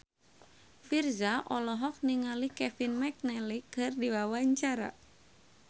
Virzha olohok ningali Kevin McNally keur diwawancara